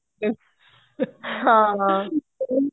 ਹਾਂ